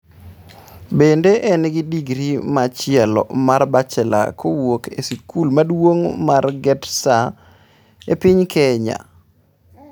Bende en gi digri machielo mar bachelor kowuok e skul maduong' mar Gretsa e piny Kenya.